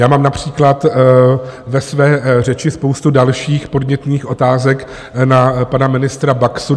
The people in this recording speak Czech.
Já mám například ve své řeči spoustu dalších podnětných otázek na pana ministra Baxu.